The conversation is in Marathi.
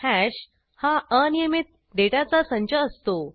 हॅश हा अनियमीत डेटाचा संच असतो